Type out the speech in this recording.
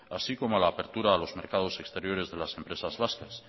así como a la apertura a los mercados exteriores de las empresas vascas